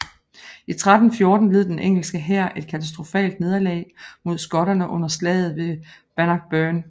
I 1314 led den engelske hær et katastrofalt nederlag mod skotterne under slaget ved Bannockburn